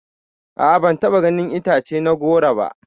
A'a ban taɓa ganin itace na goro ba.